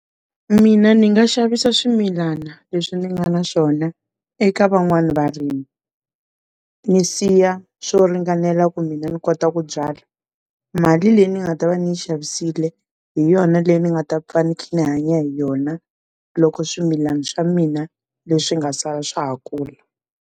Mina ni nga xavisa swimilana leswi ni nga na xona eka van'wani varimi, ni siya swo ringanela ku mina ni kota ku byala, mali leyi ni nga ta va ni xavisile, hi yona leyi ni nga ta pfa ni hanya hi yona loko swimilani swa mina leswi nga sala swa ha kula.